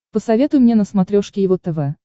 посоветуй мне на смотрешке его тв